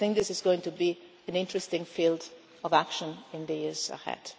way. I think this is going to be an interesting field of action in the years